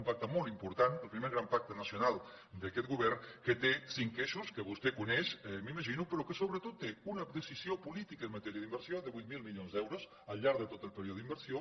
un pacte molt important el primer gran pacte nacional d’aquest govern que té cinc eixos que vostè coneix m’imagino però que sobretot té una precisió política en matèria d’inversió de vuit mil milions d’euros al llarg de tot el període d’inversió